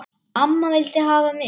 Amma vildi hafa mig.